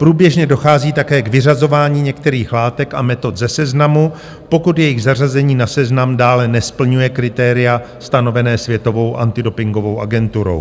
Průběžně dochází také k vyřazování některých látek a metod ze seznamu, pokud jejich zařazení na seznam dále nesplňuje kritéria stanovená Světovou antidopingovou agenturou.